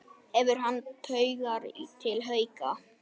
Hefur hann taugar til Hauka?